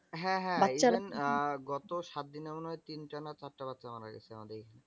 গত সাত দিনে মনে হয় তিনটা না চারটা বাচ্চা মারা গেছে আমাদের এইখানে।